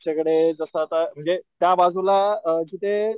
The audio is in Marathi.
आमच्याकडे जस आता म्हणजे त्या बाजूला अ तिथे,